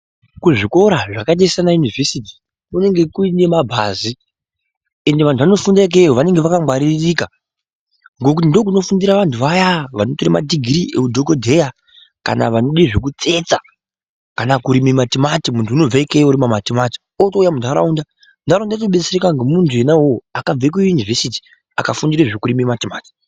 Kuzvikora zvakaita semayunivhesiti kunenge kune mabhazi, ende vantu vanofunda ikweyo vanenge vakangwaririka ngekuti ndiko kunofundire vantu vaya vekutora madhigirii eudhokodheya kana vanode zvekutsetsa, kana kurima matomati, muntu unobve ikweyo eirima matomati, utouya muntaraunda, ndaraunta yotodetsereka nemutu enauyoyo akabva kuyunuvesiti afundira zvekurima matimati.